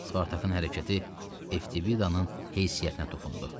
Spartakın hərəkəti Eftibidanın heysiyyətinə toxundu.